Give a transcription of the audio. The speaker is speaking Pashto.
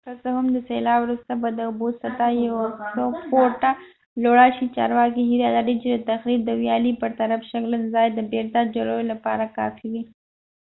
که څه هم د سیلاب وروسته به د اوبو سطحه یو څو فوټه لوړه شي چارواکي هیله لري چې د تخریب د ویالې پر طرف شګلن ځای د بیرته جوړولو لپاره کافي وي